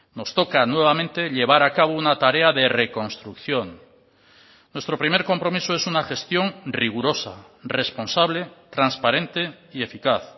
nos toca nuevamente llevar a cabo una tarea de reconstrucción nuestro primer compromiso es una gestión rigurosa responsable transparente y eficaz